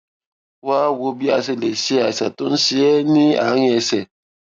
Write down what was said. wá a wò bí a ṣe lè ṣe àìsàn tó ń ṣe é ní àárín ẹsè